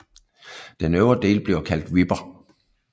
Den øvre del bliver kaldt Wipper